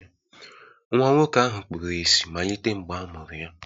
Nwa nwoke ahụ kpuru ìsì malite mgbe a mụrụ ya